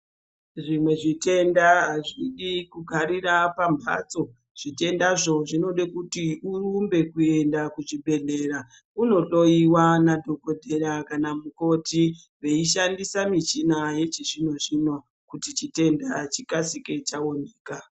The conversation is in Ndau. Zvimwe zvitenda azvidi kugarira pambatso zvitendazvo zvinode kuti urumbe kuenda kuchibhedhlera unohloyiwa nadhokodheya kana mukoti veishandisa michina yechizvino zvino kuti chitenda chikasike chaoneka.